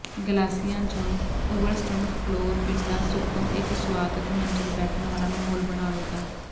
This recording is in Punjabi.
ਗਲਾਸਿਆਂ ਜਾਂ ਓਵਰਸਟੁਡ ਫਲੋਰ ਪਿੰਡਾ ਸੁੱਟੋ ਇੱਕ ਸੁਆਗਤ ਮੰਜ਼ਿਲ ਬੈਠਣ ਵਾਲਾ ਮਾਹੌਲ ਬਣਾਵੇਗਾ